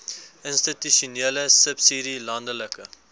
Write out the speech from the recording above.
institusionele subsidie landelike